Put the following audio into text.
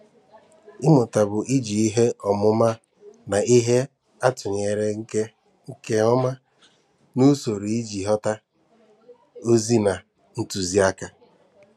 Ịmụta bụ i ji ihe ọmụma na ihe atụnyere nke nke ọma n'usoro iji ghọta ozi na ntuziaka.